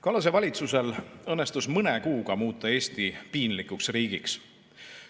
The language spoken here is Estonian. Kallase valitsusel õnnestus mõne kuuga muuta Eesti piinlikuks riigiks.